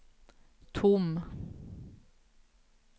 tom